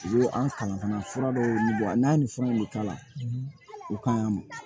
U ye an kan fana fura dɔw ɲini wa n'a ni fɛnw bɛ k'a la u kan y'a mɛn